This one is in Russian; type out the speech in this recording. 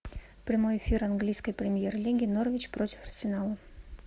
прямой эфир английской премьер лиги норвич против арсенала